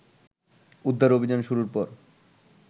উদ্ধার অভিযান শুরুর পর